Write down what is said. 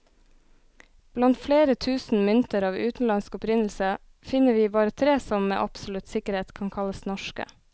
Blant flere tusen mynter av utenlandsk opprinnelse, finner vi bare tre som med absolutt sikkerhet kan kalles norske.